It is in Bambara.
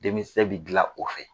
Denkisɛ bi dilan o fɛ.